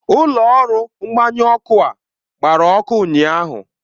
Ụlọ ọrụ mgbanyụ ọkụ a gbara ọkụ ụnyaahụ.